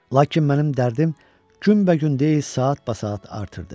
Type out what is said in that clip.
Lakin mənim dərdim günbəgün deyil, saatbasaat artırdı.